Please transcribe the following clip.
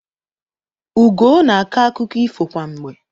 Ugoo na-akọ akụkọ ifo kwa mgbe.